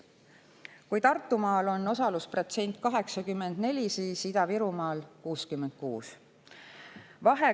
Kui Tartumaal on osalusprotsent 84, siis Ida-Virumaal 66.